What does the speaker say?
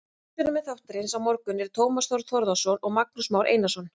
Umsjónarmenn þáttarins á morgun eru Tómas Þór Þórðarson og Magnús Már Einarsson.